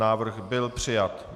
Návrh byl přijat.